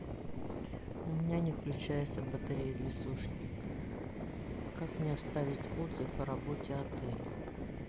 у меня не включается батарея для сушки как мне оставить отзыв о работе отеля